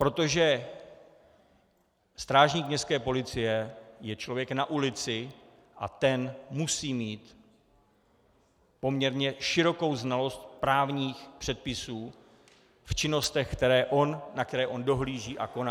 Protože strážník městské policie je člověk na ulici a ten musí mít poměrně širokou znalost právních předpisů v činnostech, na které on dohlíží a koná.